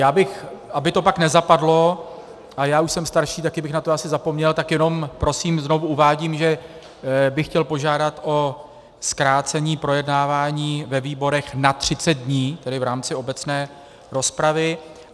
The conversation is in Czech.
Já bych, aby to pak nezapadlo, a já už jsem starší, taky bych na to asi zapomněl, tak jenom prosím znovu uvádím, že bych chtěl požádat o zkrácení projednávání ve výborech na 30 dní, tedy v rámci obecné rozpravy.